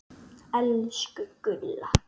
Elsku Gulla.